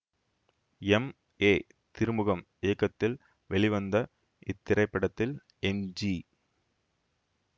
M A Thirumugam இயக்கத்தில் வெளிவந்த இத்திரைப்படத்தில் எம் ஜி